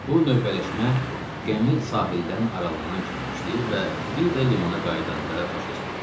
Bu növbələşmə gəmi sahildən aralanan kimi başlayır və bir də limana qayıdanda başa çatır.